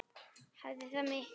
Hafði það mikil áhrif?